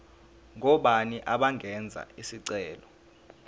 ngobani abangenza isicelo